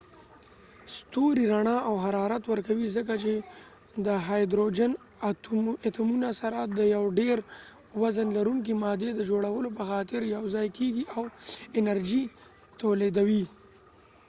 ستوری رنا او حرارت ورکوي ځکه چې د هایدروجن اتومونه سره د یو ډیر وزن لرونکې مادي د جوړولو په خاطر یو ځای کېږی او انرژی تولیدوي